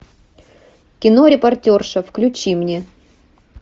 кино репортерша включи мне